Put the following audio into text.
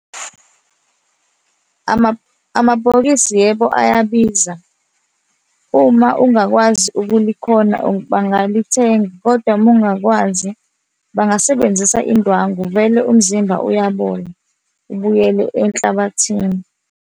Amabhokisi yebo ayabiza. Uma ungakwazi ukulikhona bangalithenga, kodwa uma ungakwazi, bangasebenzisa indwangu vele umzimba uyabola, ubuyele enhlabathini.